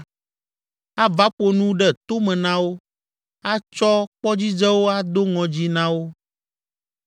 ava ƒo nu ɖe to me na wo, atsɔ kpɔdzidzewo ado ŋɔdzii na wo,